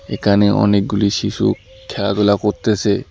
একানে অনেকগুলি শিশু খেলাধুলা করতেসে।